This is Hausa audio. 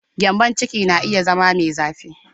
Gyambon ciki na iya zama mai zafi sosai.